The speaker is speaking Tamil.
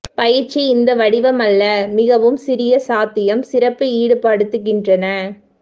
பயிற்சி இந்த வடிவமல்ல மிகவும் சிறிய சாத்தியம் சிறப்பு ஈடுபடுத்துகின்றன